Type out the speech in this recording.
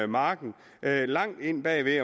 marken langt ind bag ved